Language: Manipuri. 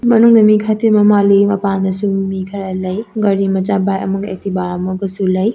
ꯃꯅꯨꯡꯗ ꯃꯤ ꯈꯔꯥ ꯇꯤꯟꯕ ꯃꯜꯂꯤ ꯃꯄꯟꯗꯁꯨ ꯃꯤꯈꯔ ꯂꯩ ꯒꯥꯔꯤ ꯃꯆꯥ ꯕꯥꯏꯛ ꯑꯃꯒ ꯑꯦꯛꯇꯤꯕ ꯑꯃꯒꯁꯨ ꯂꯩ꯫